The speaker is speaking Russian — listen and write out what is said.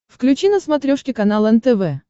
включи на смотрешке канал нтв